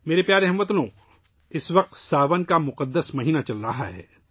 میرے پیارے ہم وطنو، اس وقت ساون کا مقدس مہینہ چل رہا ہے